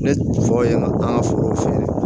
Ne tɔgɔ ye an ka forow feere